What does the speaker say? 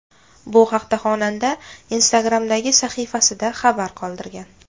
Bu haqda xonanda Instagram’dagi sahifasida xabar qoldirgan .